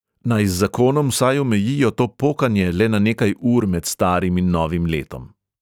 Naj z zakonom vsaj omejijo to pokanje le na nekaj ur med starim in novim letom.